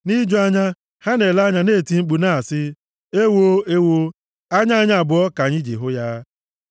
Nʼiju anya, ha na-ele m anya na-eti mkpu na-asị, “Ewoo! Ewoo! Anya anyị abụọ ka anyị ji hụ ya.”